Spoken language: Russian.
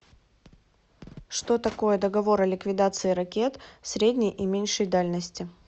что такое договор о ликвидации ракет средней и меньшей дальности